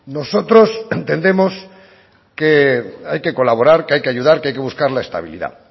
nosotros entendemos que hay que colaborar que hay que ayudar que hay que buscar la estabilidad